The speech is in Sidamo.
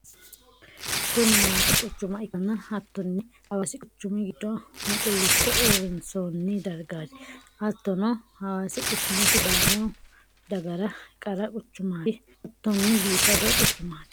kuni hawasi quchuma ikkanna hattonni hawasi quchumi giddo muqqulicho uurinsoonni dargati. hattonni hawasi quchumi sidaamu dagara qara quchumati. hattonni biifado quchumati.